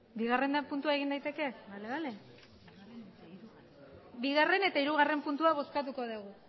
bigarrena puntua egin daiteke bale bigarren eta hirugarren puntua bozkatuko dugu